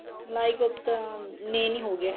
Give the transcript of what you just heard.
ਮਲਾਈ kofta main ਹੀ ਹੋਗਿਆ